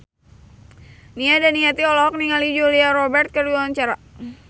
Nia Daniati olohok ningali Julia Robert keur diwawancara